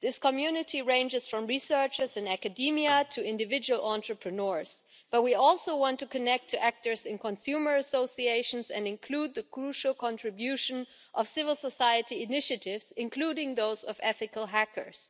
This community ranges from researchers in academia to individual entrepreneurs, but we also want to connect to actors in consumer associations and include the crucial contribution of civil society initiatives, including those of ethical hackers.